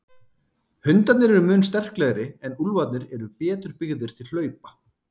Hundarnir eru mun sterklegri en úlfarnir eru betur byggðir til hlaupa.